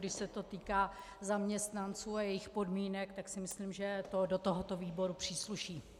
Když se to týká zaměstnanců a jejich podmínek, tak si myslím, že to do tohoto výboru přísluší.